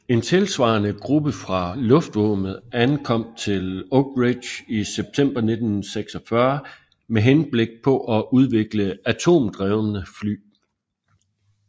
En tilsvarende gruppe fra luftvåbenet ankom til Oak Ridge i september 1946 med henblik på at udvikle atomdrevne fly